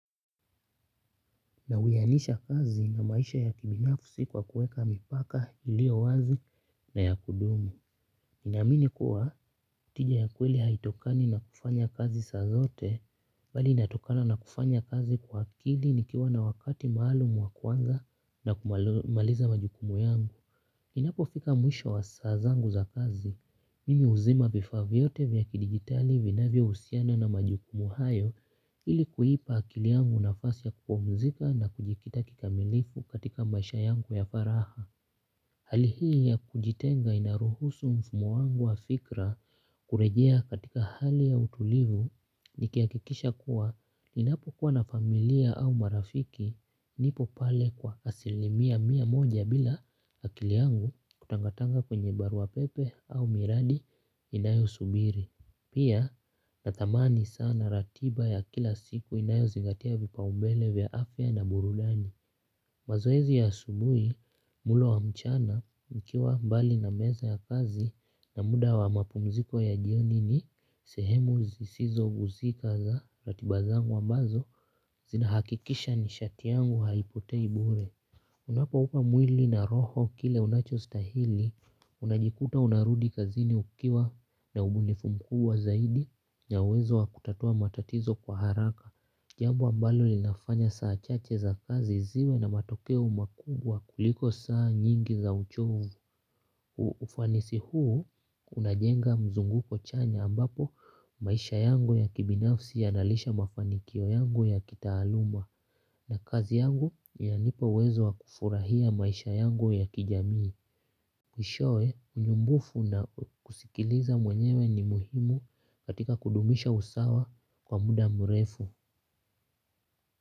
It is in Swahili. Na uyanisha kazi na maisha ya kibinafusi kwa kueka mipaka ilio wazi na ya kudumu. Naamini kuwa, tija ya kweli haitokani na kufanya kazi saa zote, bali inatokana na kufanya kazi kwa ili nikiwa na wakati maalum wa kwanza na kumaliza majukumu yangu. Inapo fika mwisha wa saa zangu za kazi, mimi huzima vifaa vyote vya kidigitali vinavya husiana na majukumu hayo ili kuipa akili yangu nafasi ya kupumzika na kujikita kikamilifu katika maisha yangu ya faraha. Hali hii ya kujitenga inaruhusu mfumo wangu wa fikra kurejea katika hali ya utulivu nikihakikisha kuwa ninapokuwa na familia au marafiki nipo pale kwa asilimia mia moja bila akili yangu kutangatanga kwenye barua pepe au miradi inayo subiri. Pia natamani sana ratiba ya kila siku inayo zingatia vipa umbele vya afya na burudani. Mazoezi ya asubuhi mulo wa mchana mkiwa mbali na meza ya kazi na muda wa mapumziko ya jioni ni sehemu zisizo guzika za ratiba zangu ambazo zina hakikisha ni shati yangu haipotei bure. Unapoupa mwili na roho kile unacho stahili, unajikuta unarudi kazini ukiwa na ubunifu mkubwa zaidi ya uwezo wa kutatua matatizo kwa haraka. Jambo ambalo linafanya saa chache za kazi ziwe na matokeo makubwa kuliko saa nyingi za uchovu. Ufanisi huu unajenga mzunguko chanya ambapo maisha yangu ya kibinafsi yanalisha mafanikio yangu ya kitaaluma na kazi yangu inanipa uwezo wa kufurahia maisha yangu ya kijamii. Mwishowe, nyumbufu na kusikiliza mwenyewe ni muhimu katika kudumisha usawa kwa muda mrefu.